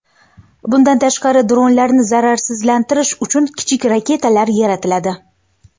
Bundan tashqari, dronlarni zararsizlantirish uchun kichik raketalar yaratiladi.